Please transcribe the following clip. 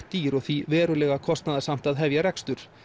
dýr og því verulega kostnaðarsamt að hefja rekstur